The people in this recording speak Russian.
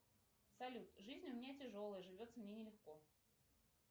салют жизнь у меня тяжелая живется мне не легко